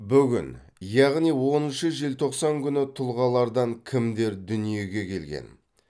бүгін яғни оныншы желтоқсан күні тұлғалардан кімдер дүниеге келген